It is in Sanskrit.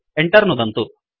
Enter नुदन्तु